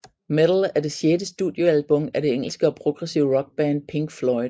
Meddle er det sjette studiealbum af det engelske progressive rock band Pink Floyd